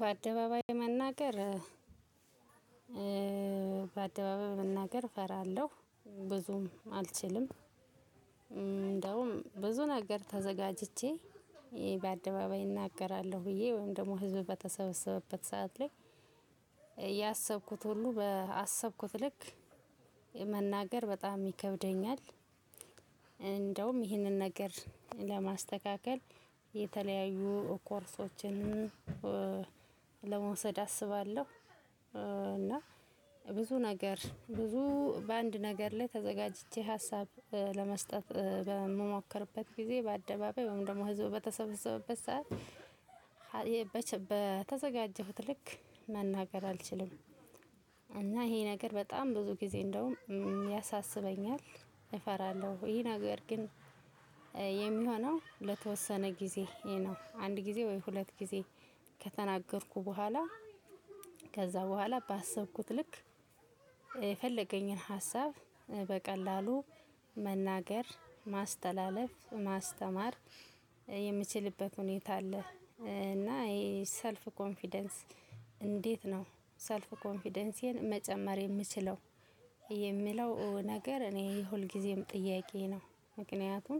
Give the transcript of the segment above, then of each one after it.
በአደባባይ መናገር በአደባባይ መናገር እፈራለሁ ብዙም አልችልም። እንደውም ብዙ ነገር ተዘጋጅቼ በአደባባይ እናገራለሁ። ብዬ ወይም ደግሞ ህዝብ በተሰበሰበበት ሰዓት ላይ ያሰብኩት ሁሉ ባሰብኩት ልክ መናገር በጣም ይከብደኛል። እንደውም ይህንን ነገር ለማስተካከል የተለያዩ ኮርሶችን ለመውሰድ አስባለሁ። እና ብዙ ነገር ብዙ በአንድ ነገር ላይ ተዘጋጅቼ ሀሳብ ለመስጠት በምሞክርበት ጊዜ በአደባባይ ወይም ደግሞ ህዝቡ በተሰበሰበበት ሰዓት በተዘጋጀሁት ልክ መናገር አልችልም። እና ይሄ ነገር በጣም ብዙ ጊዜ እንደውም ያሳስበኛል። እፈራለሁ ይሄ ነገር ግን የሚሆነው ለተወሰነ ጊዜ ነው። አንድ ጊዜ ወይ ሁለት ጊዜ። ከተናገርኩ በኋላ ከዛ በኋላ ባሰብኩት ልክ የፈለገኝን ሀሳብ በቀላሉ መናገር ማስተላለፍ ማስተማር የምችልበት ሁኔታ አለ። እና ይሄ ሰልፍ ኮንፊደንስ እንዴት ነው? ሰልፍ ኮንፊደንሲን መጨመር የምችለው የሚለው ነገር እኔ ሁልጊዜም ጥያቄ ነው። ምክንያቱም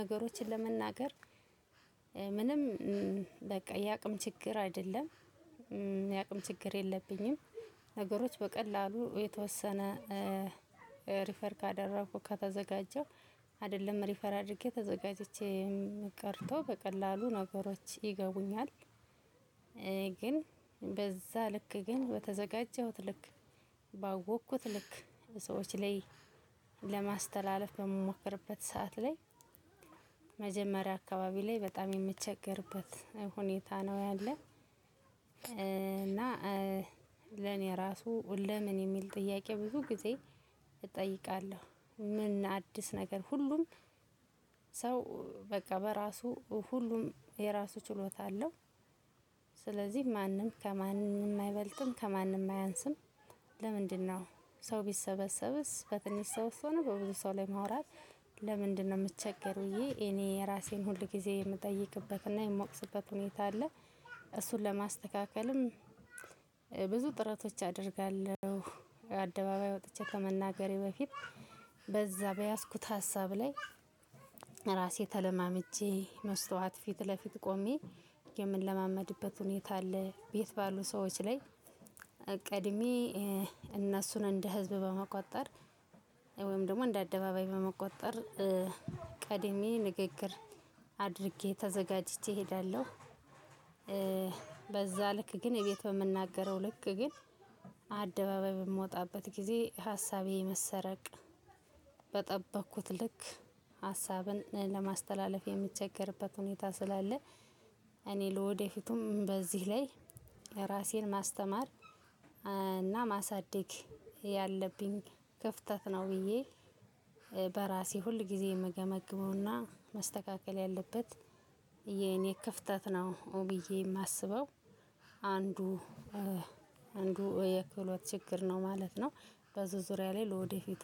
ነገሮችን ለመናገር ምንም በቃ የአቅም ችግር አይደለም። የአቅም ችግር የለብኝም። ነገሮች በቀላሉ የተወሰነ ሪፈር ካደረኩ ከተዘጋጀሁ አይደለም ሪፈራ አድርጌ ተዘጋጅቼ ቀርቶ በቀላሉ ነገሮች ይገቡኛል። ግን በዛ ልክ ግን በተዘጋጀሁት ልክ ባወቅኩት ልክ ሰዎች ላይ ለማስተላለፍ በምሞክርበት ሰዓት ላይ መጀመሪያ አካባቢ ላይ በጣም የሚቸገርበት ሁኔታ ነው። ያለው እና ለኔ ራሱ ለምን የሚል ጥያቄ ብዙ ጊዜ እጠይቃለሁ። ምን አዲስ ነገር ሁሉም ሰው በቃ በራሱ ሁሉም የራሱ ችሎታ አለው። ስለዚህ ማንም ከማንም አይበልጥም ከማንም አያንስም። ለምንድነው? ሰው ቢሰበሰብስ በትንሽ ሰው ሆኖ በብዙ ሰው ላይ ማውራት ለምንድነው? እምቸገር ብዬ እኔ እራሴን ሁል ጊዜ የምጠይቅበትና የምወቅስበት ሁኔታ አለ። እሱን ለማስተካከልም ብዙ ጥረቶች አደርጋለሁ። አደባባይ ወጥቼ ከመናገሬ በፊት በዛ በያዝኩት ሀሳብ ላይ ራሴ ተለማምጀ መስታወት ፊት ለፊት ቆሜ የምንለማመድበት ሁኔታ አለ ቤት ባሉ ሰዎች ላይ ቀድሜ እነሱን እንደ ህዝብ በመቁጠር ወይም ደግሞ እንደ አደባባይ በመቁጠር ቀድሜ ንግግር አድርጌ ተዘጋጅቼ እሄዳለሁ። በዛ ልክ ግን እቤት በምናገረው ልክ ግን አደባባይ በምወጣበት ጊዜ ሀሳቤ የመሰረቅ በጠበቅኩት ልክ ሀሳብን ለማስተላለፍ የሚቸገርበት ሁኔታ ስላለ። እኔ ለወደፊቱም በዚህ ላይ እራሴን ማስተማር እና ማሳደግ ያለብኝ ክፍተት ነው። ብዬ በራሴ ሁል ጊዜ እምገመግመውና መስተካከል ያለበት የኔ ክፍተት ነው ብዬ የማስበው። አንዱ አንዱ የክህሎት ችግር ነው ማለት ነው። በዚህ ዙሪያ ላይ ለወደፊቱ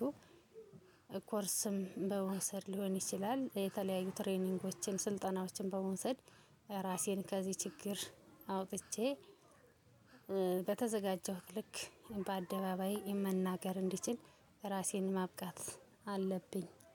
ኮርስም በመውሰድ ሊሆን ይችላል። የተለያዩ ትሬኒንጎችን ስልጠናዎችን በመውሰድ እራሴን ከዚህ ችግር አውጥቼ በተዘጋጀሁት ልክ በአደባባይ መናገር እንድችል እራሴን ማብቃት አለብኝ